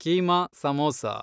keema samosa